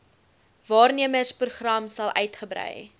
waarnemersprogram sal uitgebrei